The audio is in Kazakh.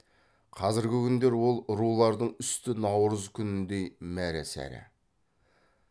қазіргі күндер ол рулардың үсті наурыз күніндей мәре сәре